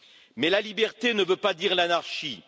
Mais la liberté ne veut pas dire l'anarchie.